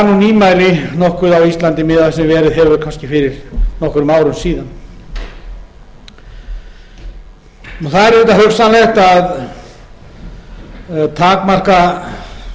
nýmæli nokkuð á íslandi miðað við það sem verið hefur fyrir nokkrum árum síðan það er auðvitað hugsanlegt að takmarka